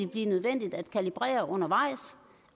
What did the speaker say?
blive nødvendigt at kalibrere undervejs